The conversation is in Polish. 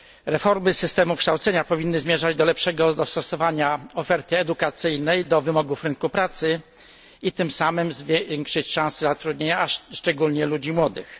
Reformy systemu kształcenia powinny zmierzać do lepszego dostosowania oferty edukacyjnej do wymogów rynku pracy i tym samym zwiększyć szanse zatrudnienia, szczególnie ludzi młodych.